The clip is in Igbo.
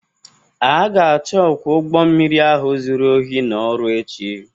A ga-achụ ọkwọ ụgbo mmiri ahụ zuru ohi n'ọrụ echi.